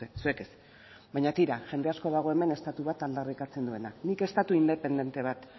duzue zuek ez baina tira jende asko dago hemen estatu bat aldarrikatzen duena nik estatu independente bat